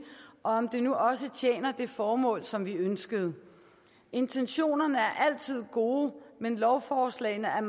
og om den nu også tjener det formål som vi ønskede intentionerne er altid gode men lovforslagene er